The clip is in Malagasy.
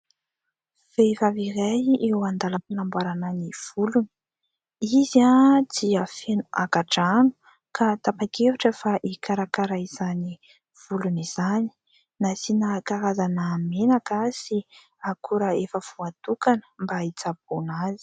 Vehivavy iray eo an-dalam-panamboarana ny volony. Izy dia feno angadrano ka tapa-kevitra fa hikarakara izany volony izany, nasiana karazana menaka sy akora efa voatokana mba hitsaboana azy.